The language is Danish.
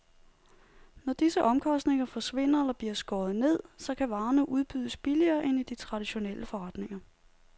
Når disse omkostninger forsvinder eller bliver skåret ned, så kan varerne udbydes billigere end i de traditionelle forretninger.